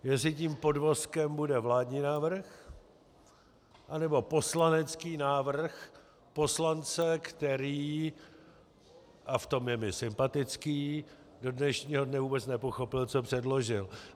Jestli tím podvozkem bude vládní návrh, anebo poslanecký návrh poslance, který - a v tom je mi sympatický - do dnešního dne vůbec nepochopil, co předložil.